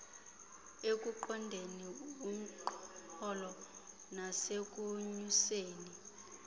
ekuqondeni umxholo nasekunyuseni